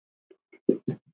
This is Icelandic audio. Svava Árdís.